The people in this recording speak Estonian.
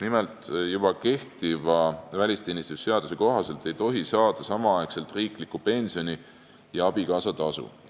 Nimelt, kehtiva välisteenistuse seaduse kohaselt ei tohi saada samaaegselt riiklikku pensioni ja abikaasatasu.